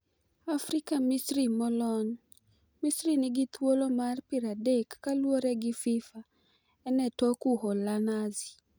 AFRIKA Misri Molony: Misri nigi thuolo mar 30 kaluore gi Fifa, en e tok Uholananzi.